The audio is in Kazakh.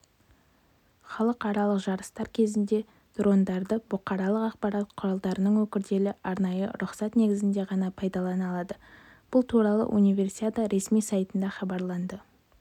халықаралықжарыстар кезінде дрондарды бұқаралық ақпарат құралдарының өкілдері арнайы рұқсат негізінде ғана пайдалана алады бұл туралы универсиада ресми сайтында хабарланды